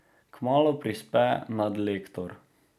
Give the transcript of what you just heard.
Kmalu prispe nadlektor.